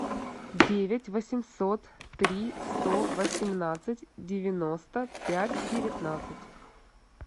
девять восемьсот три сто восемнадцать девяносто пять девятнадцать